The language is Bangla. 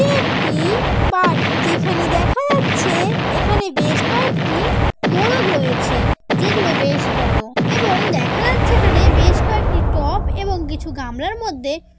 এটা একটি বাড়ি। যেখানে দেখা যাচ্ছে এখানে বেশ কয়েকটি মোরগ রয়েছে। যেগুলো বেশ বড়ো এবং দেখা যাচ্ছে এখানে বেশ কয়েকটি টব এবং কিছু গামলার মধ্যে--